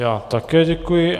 Já také děkuji.